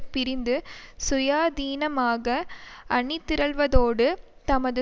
பிரிந்து சுயாதீனமாக அணிதிரள்வதோடு தமது